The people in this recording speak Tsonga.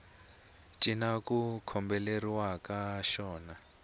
cinca ku kombeleriwaka xona a